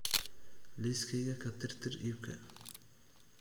liiskayga ka tirtir iibka